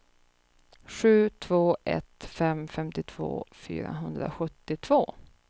sju två ett fem femtiotvå fyrahundrasjuttiotvå